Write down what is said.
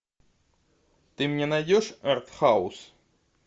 ты мне найдешь артхаус